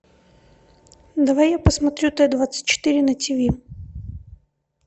давай я посмотрю т двадцать четыре на тиви